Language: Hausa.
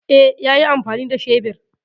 E, yayi amfani da shebir.